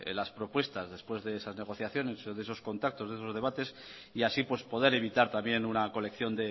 las propuestas después de estas negociaciones de esos contactos de esos debates y así poder evitar también una colección